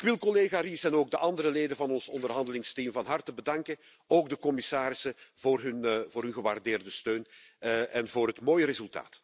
Ik wil collega Ries en ook de andere leden van ons onderhandelingsteam van harte bedanken, ook de commissarissen voor hun gewaardeerde steun en voor het mooie resultaat.